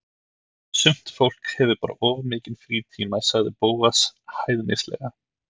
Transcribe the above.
Sumt fólk hefur bara of mikinn frítíma sagði Bóas hæðnislega.